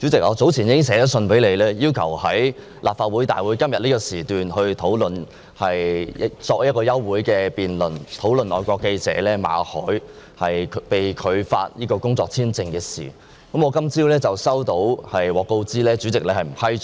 主席，我早前已致函給你，要求在今天的立法會會議上提出一項休會待續議案，就外國記者馬凱的工作簽證續期申請被拒一事進行辯論。